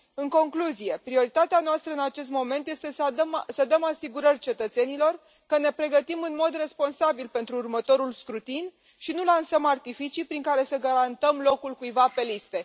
În concluzie, prioritatea noastră în acest moment este să dăm asigurări cetățenilor că ne pregătim în mod responsabil pentru următorul scrutin și nu lansăm artificii prin care să garantăm locul cuiva pe liste.